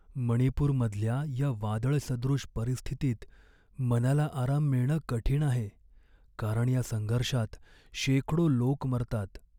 मणिपूरमधल्या या वादळसदृश परिस्थितीत मनाला आराम मिळणं कठीण आहे, कारण या संघर्षात शेकडो लोक मरतात.